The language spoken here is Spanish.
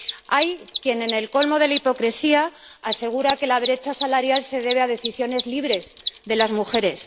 Hay quien —en el colmo de la hipocresía— asegura que la brecha se debe a decisiones libres de las mujeres.